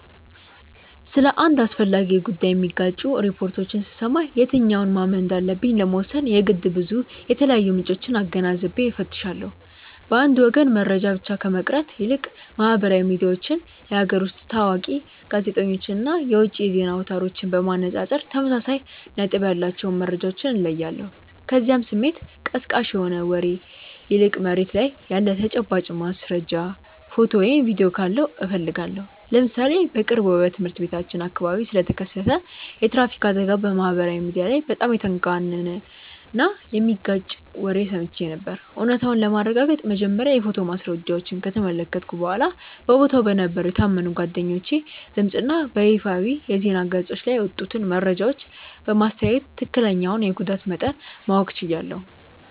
ስለ አንድ አስፈላጊ ጉዳይ የሚጋጩ ሪፖርቶችን ስሰማ የትኛውን ማመን እንዳለብኝ ለመወሰን የግድ ብዙ የተለያዩ ምንጮችን አገናዝቤ እፈትሻለሁ። በአንድ ወገን መረጃ ብቻ ከመቅረት ይልቅ ማህበራዊ ሚዲያዎችን፣ የሀገር ውስጥ ታዋቂ ጋዜጠኞችን እና የውጭ የዜና አውታሮችን በማነጻጸር ተመሳሳይ ነጥብ ያላቸውን መረጃዎች እለያለሁ፤ ከዚያም ስሜት ቀስቃሽ ከሆነ ወሬ ይልቅ መሬት ላይ ያለ ተጨባጭ ማስረጃ፣ ፎቶ ወይም ቪዲዮ ካለው እፈልጋለሁ። ለምሳሌ በቅርቡ በትምህርት ቤታችን አካባቢ ስለተከሰተ የትራፊክ አደጋ በማህበራዊ ሚዲያ ላይ በጣም የተጋነነና የሚጋጭ ወሬ ሰምቼ ነበር፤ እውነታውን ለማረጋገጥ መጀመሪያ የፎቶ ማስረጃዎችን ከተመለከትኩ በኋላ፣ በቦታው በነበሩ የታመኑ ጓደኞቼ ድምፅ እና በይፋዊ የዜና ገጾች ላይ የወጡትን መረጃዎች በማስተያየ ትክክለኛውን የጉዳት መጠን ማወቅ ችያለሁ።